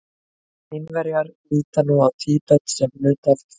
Kínverjar líta nú á Tíbet sem hluta af Kína.